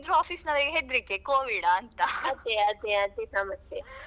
ಅದೇ ಅದೇ ಅದೇ ಸಮಸ್ಯೆ.